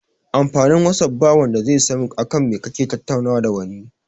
Amfanin whatsapp ba wanda zai san akan me kake tattaunawa da wani